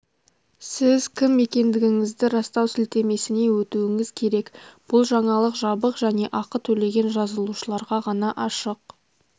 сіз кім екендігіңізді растау сілтемесіне өтуіңіз керек бұл жаңалық жабық және ақы төлеген жазылушыларға ғана ашық